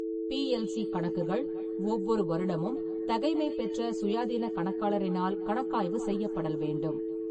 PLC கணக்குகள் ஒவ்வொரு வருடமும் தகைமைபெற்ற சுயாதீன கணக்காளரினால் கணக்காய்வு செய்யப்படல் வேண்டும்.